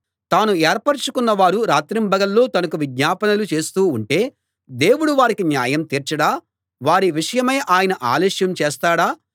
తాను ఏర్పరచుకున్న వారు రాత్రింబగళ్ళు తనకు విజ్ఞాపనలు చేస్తూ ఉంటే దేవుడు వారికి న్యాయం తీర్చడా వారి విషయమై ఆయన ఆలస్యం చేస్తాడా